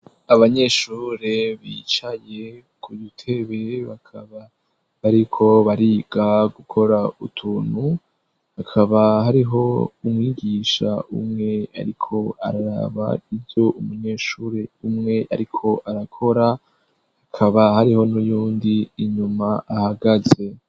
abanyeshure bicaye ku dutebe bakaba bariko bariga gukora utuntu hakaba hariho umwigisha umwe ariko araraba ivyo umunyeshuri umwe ariko arakora hakaba hariho n'uyundi inyuma ahagaze.